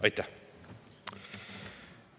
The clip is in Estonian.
Aitäh!